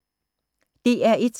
DR1